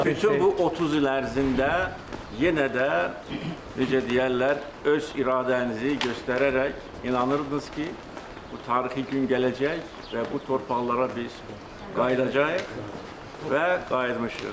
Bütün bu 30 il ərzində yenə də, necə deyərlər, öz iradənizi göstərərək inanırdınız ki, bu tarixi gün gələcək və bu torpaqlara biz qayıdacağıq və qayıtmışıq.